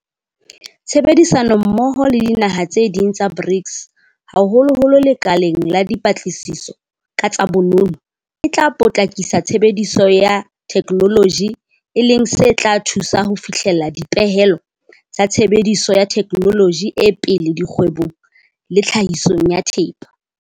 Tshebedisanommoho le dinaha tse ding tsa BRICS haholoholo lekaleng la dipa tlasiso ka tsa bonono e tla potlakisa tshebediso ya the kenoloji e leng se tla thusa ho fihlela dipehelo tsa tshebediso ya thekenoloji e pele dikgwe bong le tlhahisong ya thepa.